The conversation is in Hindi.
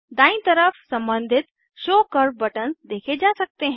दायीं तरफ सम्बंधित शो कर्व बटन्स देखे जा सकते हैं